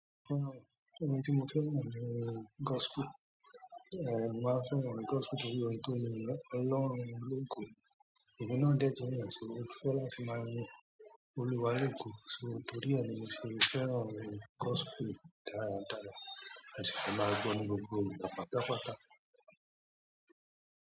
Nítorí orin tó le yin Ọlọ́run mi lógo, èmi náà dẹ̀ jẹ́ èèyàn tí ó fẹ́ láti máa yin Olúwa lógo, so, torí ẹ̀ ni mo ṣe fẹ́ràn gospel dáradára, ma si fẹ́ máa gbọ́ ọ ní gbogbo ìgbà pátápátá.